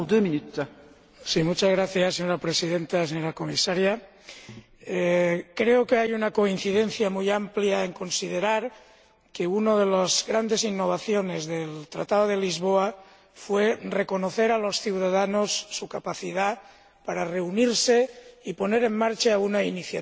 Señora Presidenta, señora Comisaria, creo que hay una coincidencia muy amplia en considerar que una de las grandes innovaciones del Tratado de Lisboa fue reconocer a los ciudadanos su capacidad para reunirse y poner en marcha una iniciativa legislativa ciudadana.